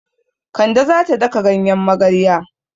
Kande za ta daka ganyen magarya.